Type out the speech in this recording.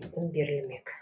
екпін берлімек